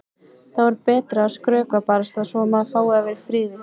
Þá er betra að skrökva barasta svo að maður fái að vera í friði.